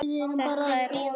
Við erum bara að bíða.